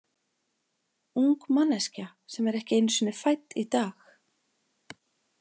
Ung manneskja sem er ekki einu sinni fædd í dag.